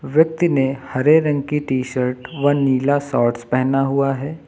व्यक्ति ने हरे रंग की टी शर्ट व नीला शॉर्टस पहना हुआ है।